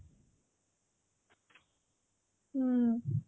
ହୁଁ